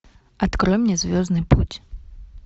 открой мне звездный путь